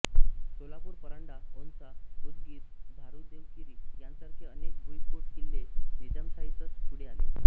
सोलापूर परांडा औसा उदगीर धारूरदेवगिरी यांसारखे अनेक भुईकोट किल्ले निजामशाहीतच पुढे आले